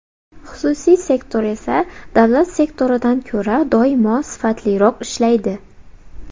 Xususiy sektor esa davlat sektoridan ko‘ra doimo sifatliroq ishlaydi.